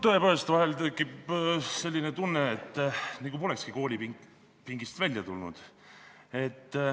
Tõepoolest, vahel tekib selline tunne, nagu polekski koolipingist välja tulnud.